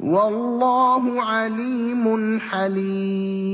وَاللَّهُ عَلِيمٌ حَلِيمٌ